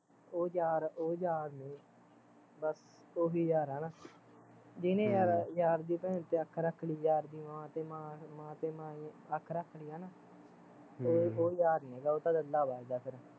ਉਹ ਯਾਰ ਯਾਰ ਨੀ ਬਸ, ਉਹੀਂ ਯਾਰ ਆ ਹੈਨਾ ਜਿਹਣੇ ਯਾਰ ਯਾਰ ਦਿ ਭੈਣ ਤੇ ਅੱਖ ਰੱਖਲੀ ਯਾਰ ਦੀ ਮਾਂ ਮਾਂ ਤੇ ਮਾਂ ਮਾਂ ਤੇ ਈ ਅੱਖ ਰੱਖਲੀ ਹੈਨਾ ਹਮ ਉਹ ਯਾਰ ਨੀਗਾ ਉਹ ਤੇ ਦੱਲਾ ਵੱਜਦਾ ਫਿਰ